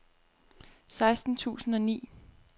seksten tusind og ni